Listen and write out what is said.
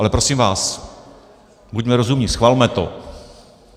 Ale prosím vás, buďme rozumní, schvalme to!